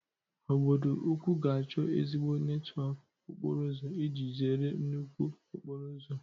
Obodo ukwu ga-achọ ezigbo netwọk okporo ụzọ iji zere nnukwu okporo ụzọ